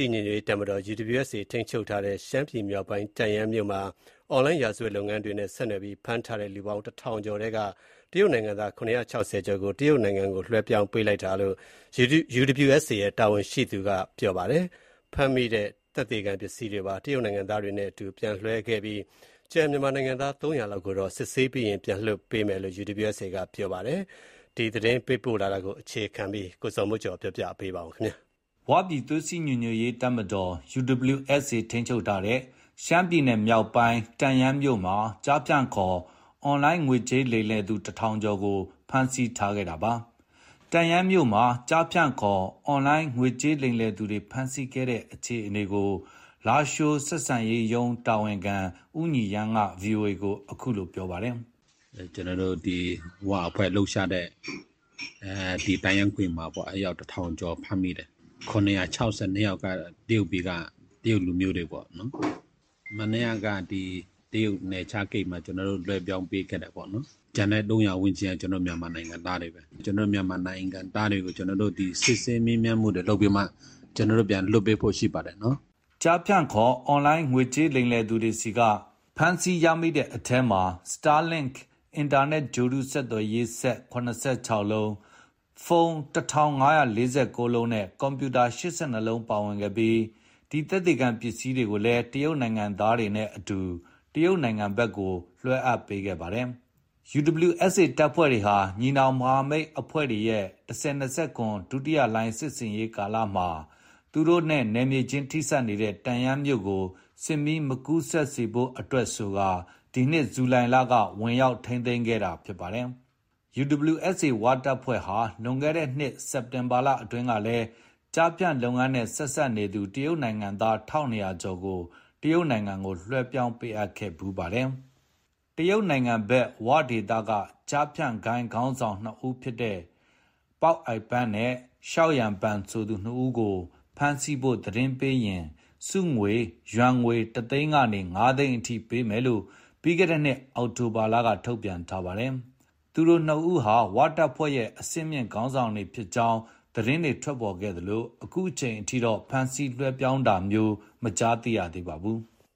ီညွတ်ရေးတပ်မတော် UWSA ထိန်းချုပ်ထားတဲ့ ရှမ်းပြည်နယ်မြောက်ပိုင်း တန့်ယန်း မြို့ မှာ အွန်လိုင်းရာဇဝတ်လုပ်ငန်းတွေနဲ့ ဆက်နွယ်ပြီး ဖမ်းဆီးထားတဲ့ လူပေါင်း ၁,၀၀၀ ကျော်ထဲက တရုတ်နိုင်ငံ သား ၇၆၀ ကျော်ကို တရုတ်နိုင်ငံကို ပြန်လွှဲပြောင်းပေးလိုက်တယ်လို့ UWSA တာဝန်ရှိသူက ဗွီအိုအေကို ပြောပါတယ်။ ဖမ်းမိတဲ့သက်သေခံပစ္စည်းတွေကိုပါ တရုတ်နိုင်ငံသားတွေနဲ့အတူ ပြန်လည်လွှဲအပ်ခဲ့ပြီး ကျန်မြန်မာနိုင်ငံသား ၃၀၀ လောက်ကိုတော့ စစ်ဆေးပြီးရင် ပြန်လွှတ်ပေးဖို့ ရှိကြောင်း UWSAက ပြောပါတယ်။ ရန်ကုန်က သတင်းပေးပို့ထားပါတယ်။ ဝပြည်သွေးစည်းညီညွတ်ရေးတပ်မတော် UWSA ထိန်းချုပ်ထားတဲ့ ရှမ်း ပြည်နယ်မြောက်ပိုင်း တန့်ယန်း မြို့ မှာ ကျားဖြန့်ခေါ် အွန်လိုင်း ငွေကြေးလိမ်လည်သူ ၁၀၀၀ ကျော်ကို ဖမ်းဆီးခဲ့တာပါ။ တန့်ယန်းမြို့မှာ ကျားဖြန်ခေါ် အွန်လိုင်း ငွေကြေးလိမ်လည်သူတွေ ဖမ်းဆီးခဲ့တဲ့ အခြေအနေကို လားရှိုးဆက်ဆံရေးရုံးတာဝန်ခံ ဦးညီရန်းက VOA ကို အခုလို ပြောပါတယ်။ “ ကျနော်တို့ ဒီ ဝအဖွဲ့လှုပ်ရှားတဲ့ တန့်ယန်းဂွင်မှာပေါ့။ အယောက် ၁,၀၀၀ ကျော် ဖမ်းမိတယ်။ ၇၆၂ ယောက်ကတော့ တရုတ်ပြည်က တရုတ်လူမျိုးတွေပေါ့နော်။ မနေ့က တရုတ်နယ်ကြားဂိတ်မှာ ကျနော်တို့ လွှဲပြောင်းပေးခဲ့တယ်ပေါ့နော်။ ကျန်တဲ့ ၃၀၀ လောက်က ကျနော်တို့ မြန်မာနိုင်ငံသားတွေပေါ့။ ကျနော်တို့ မြန်မာနိုင်ငံသားတွေကို ကျနော်တို့ ဒီ စစ်ဆေးမေးမြန်းမှုတွေ လုပ်ပြီးမှ ကျနော်တို့ ပြန်လွှတ်ပေးဖို့ ရှိပါတယ်။” ကျားဖြန့်ခေါ် အွန်လိုင်းငွေကြေးလိမ်လည်သူတွေဆီက ဒီဖမ်းဆီးရမိတဲ့အထဲမှာ Starlink အင်တာနက်ဂြိုဟ်တု ဆက်သွယ်ရေးစက် ၇၆ လုံး၊ ဖုန်း ၁,၅၄၉ လုံးနဲ့ ကွန်ပြူတာ ၈၂ လုံးတို့ ပါဝင်ခဲ့ပြီး ဒီသက်သေခံပစ္စည်းတွေကိုလည်း တရုတ်နိုင်ငံသားတွေနဲ့အတူ တရုတ်နိုင်ငံဘက်ကို ပြန်လည်လွှဲအပ်ခဲ့တာဖြစ်ပါတယ်။ UWSA တပ်ဖွဲ့တွေဟာ ညီနောင်မဟာမိတ် အဖွဲ့တွေရဲ့ ၁၀၂၇ ဒုတိယလှိုင်းစစ်ဆင်ရေးကာလမှာ သူတို့နဲ့ နယ်မြေချင်းထိစပ်နေတဲ့ တန့်ယန်းမြို့ကို စစ်မီး မကူးစက်စေဖို့အတွက် ဒီနှစ် ဇူလိုင်လက ဝင်ရောက် ထိန်းသိမ်းခဲ့တာလည်း ဖြစ်ပါတယ်။ UWSA ဝတပ်ဖွဲ့ဟာ လွန်ခဲ့တဲ့နှစ် စက်တင်ဘာလအတွင်းကလည်း ကျားဖြန်လုပ်ငန်းနဲ့ ဆက်စပ်နေသူ တရုတ်နိုင်ငံသား ၁,၂၀၀ ကျော်ကို တရုတ်နိုင်ငံဘက်ကို လွှဲပြောင်းပေးအပ်ခဲ့တာ ရှိခဲ့ဖူးပါတယ်။ တရုတ်နိုင်ငံဘက်က ဝဒေသက ကျားဖြန့်ဂိုဏ်းခေါင်းဆောင် ၂ ဦးဖြစ်တဲ့ ပေါက်အိုက်ပန်နဲ့ ရှောက်ရန်ပန် ဆိုသူ ၂ ဦးကို ဖမ်းဆီးဖို့ သတင်းပေးရင် ဆုကြေးငွေ ယွမ်ငွေ ၁ သိန်းကနေ ၅ သိန်းအထိ ပေးမယ်လို့ ပြီးခဲ့တဲ့နှစ် အောက်တိုဘာလက ထုတ်ပြန်ထားပါတယ်။ သူတို့ ၂ ဦးဟာ ဝတပ်ဖွဲ့ရဲ့ အဆင့်မြင့်ခေါင်းဆောင်တွေ ဖြစ်ကြောင်း သတင်းတွေ ထွက်ပေါ်ခဲ့သလို အခုချိန်ထိတော့ ဖမ်းဆီးလွှဲပြောင်းတာမျိုးကိုလည်း မကြားသိရသေးပါဘူး။